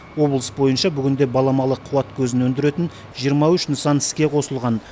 облыс бойынша бүгінде баламалы қуат көзін өндіретін жиырма үш нысан іске қосылған